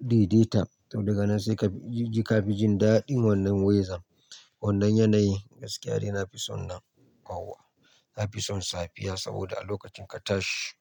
daidaita, to daga nan sai ka ji ka fi jin daɗin wannan wezan. Wannan yanayin gaskiya dai na fi son nan kwauwa na fi son safiya saboda a lokacin ka tashi.